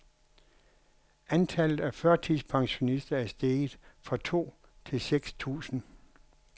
Antallet af førtidspensionister er steget fra to til seks tusind.